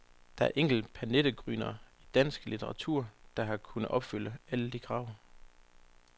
Der er enkelte pernittengryner i dansk litteratur der har kunnet opfylde alle de krav.